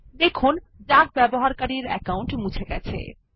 দেখুন ডাক ব্যবহারকারীর অ্যাকাউন্ট মুছে গেছে